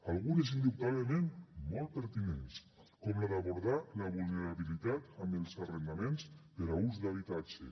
algunes indubtablement molt pertinents com la d’abordar la vulnerabilitat amb els arrendaments per a ús d’habitatge